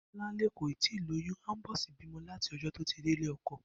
Bó̩láńlé kò tíì lóyún àńbó̩sí bímo̩ láti o̩jó̩ tí ó ti dé ilé o̩ko̩